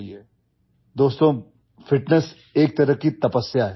Friends, fitness is a kind of penance